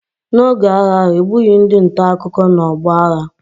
N’oge agha ahụ, e gbughị ndị nta akụkọ n’ọgbọ agha.